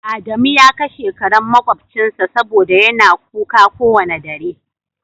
adamu ya kashe karen makobcinsa saboda yana kuka kowane dare.